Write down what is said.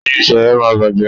Oyún Seye má bàjé